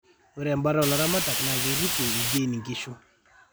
ore embata oo laramatak naa keirririe ildiain inkishu